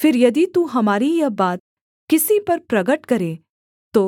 फिर यदि तू हमारी यह बात किसी पर प्रगट करे तो